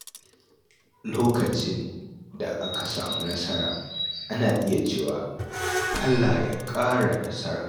Lokacin da aka samu nasara, ana iya cewa “Allah ya ƙara nasara.”